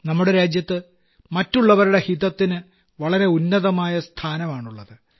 നമ്മുടെ രാജ്യത്ത് മറ്റുള്ളവരുടെ ഹിതത്തിന് വളരെ ഉന്നതമായ സ്ഥാനമാണുള്ളത്